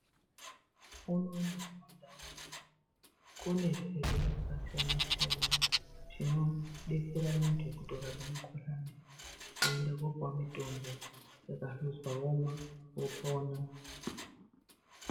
Unono kumandau unono kune zvibhehlera zvakasiyana siyana zvinodetsera vantu kuti vakazwa mukuhlani voenda kupuwa mitombo yakahluzwa vomwa.